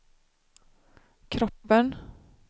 kroppen